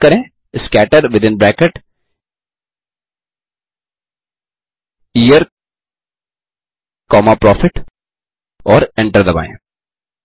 type करें scatter within bracket year comma profit और enter दबाएँ